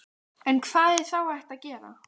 En hvað er þá hægt að gera?